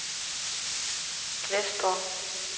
Glesborg